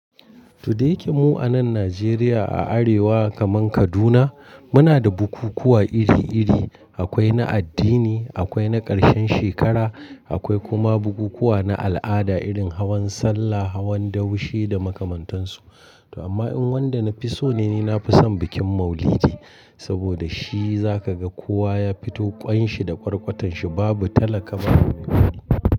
Toh da yake mu anan Najeriya a arewa kaman Kaduna, muna da bukukkuwa iri iri. Akwai na addini, akwai na karshen shekara, akwai kuma bukukkuwa na al'ada irin hawan salla, hawan daushe da makamantansu. Amma in wanda na fi so ne, ni nafi son bikin Maulidi, saboda shi zaka ga kowa ya fito ƙwan shi da kwarkwatan shi babu talaka babu mai kuɗi.